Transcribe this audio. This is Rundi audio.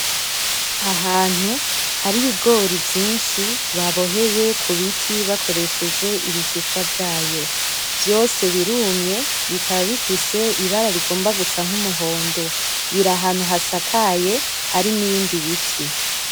Ahantu hari ibigori vyinshi baboheye kubiti bakoresheje ibishishwa vyayo, vyose birumye bikaba bifise ibara rigomba gusa numuhondo, biro ahantu hasakaye hari n'ibiti